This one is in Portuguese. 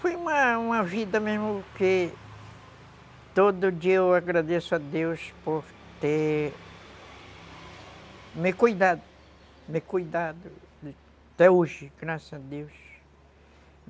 Foi uma uma vida mesmo que todo dia eu agradeço a Deus por ter me cuidado, me cuidado, até hoje, graças a Deus.